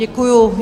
Děkuji.